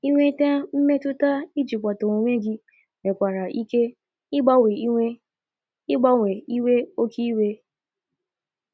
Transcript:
Inweta mmetuta ijikwata onwe gị nwekwara ike igbawanye iwe igbawanye iwe oke iwe